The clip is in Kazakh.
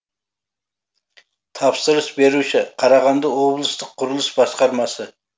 тапсырыс беруші қарағанды облыстық құрылыс басқармасы